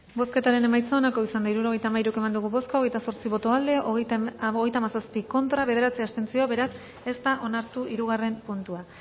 bozketaren emaitza onako izan da hirurogeita hamalau eman dugu bozka hogeita zortzi boto aldekoa hogeita hamazazpi contra bederatzi abstentzio beraz ez da onartu hirugarren puntua